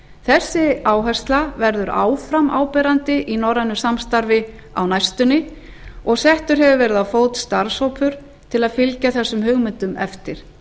sú áhersla verður áfram áberandi í norrænu samstarfi á næstunni og settur hefur verið á fót starfshópur til að fylgja þessum hugmyndum eftir